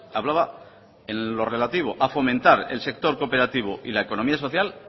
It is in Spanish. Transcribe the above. hablaba en lo relativo a fomentar el sector cooperativo y la economía social